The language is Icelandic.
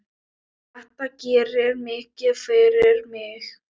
Þetta gerir mikið fyrir mig.